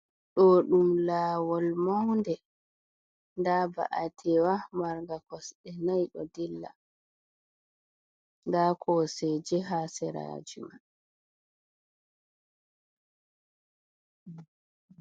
Ɗoo ɗum laawol mawnde, nda ba’'antewa marnga kosɗe nayi ɗo dilla, nda Kooseeje haa seraaji man.